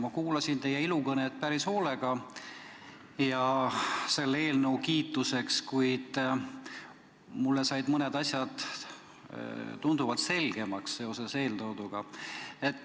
Ma kuulasin teie ilukõnet selle eelnõu kiituseks päris hoolega ja mulle said mõned asjad seoses eeltooduga tunduvalt selgemaks.